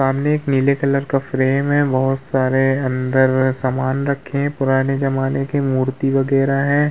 सामने एक नीले कलर का फ्रेम है बहुत सारे अंदर सामन रखे हैं पुराने ज़माने के मूर्ति वगैरह हैं।